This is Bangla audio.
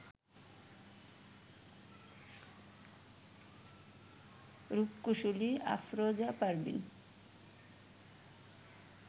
রূপকুশলী আফরোজা পারভিন